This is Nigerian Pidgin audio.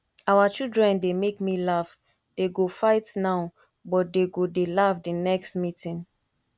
our children dey make me laugh dey go fight now but dey go dey laugh the next meeting